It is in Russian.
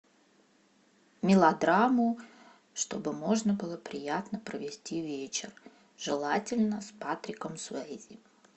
мелодраму чтобы можно было приятно провести вечер желательно с патриком суэйзи